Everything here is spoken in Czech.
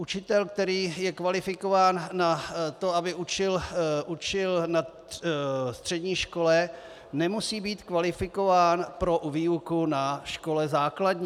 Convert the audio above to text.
Učitel, který je kvalifikován na to, aby učil na střední škole, nemusí být kvalifikován pro výuku na škole základní.